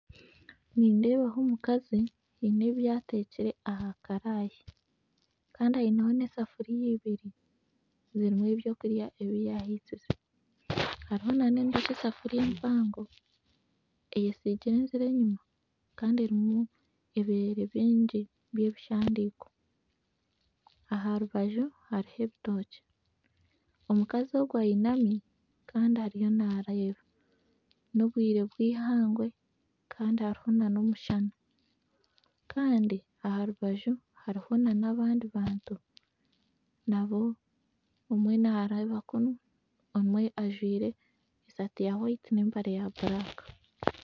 Nindeebaho omukazi haine ebi ateekire aha karaaya Kandi aineho nesafuriya ibiri erimu ebyokurya ebi yahisize hariho nana endiijo esafuriya empango eine enziro enyuma kandi erimu ebireere bingi byebishandiko aharubaju hariho ebitookye omukazi ogu ainami Kandi ariyo nareeba nobwiire bwihangwe Kandi hariho nana omushana Kandi aharubaju hariho nabandi bantu nabo omwe nareeba kunu omwe ajwaire esaati ya hwayiti nempare ya buraka